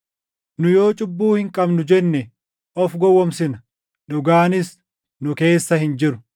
Nu yoo cubbuu hin qabnu jenne of gowwoomsina; dhugaanis nu keessa hin jiru.